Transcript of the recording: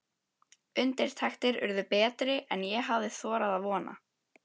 Undirtektir urðu betri en ég hafði þorað að vona.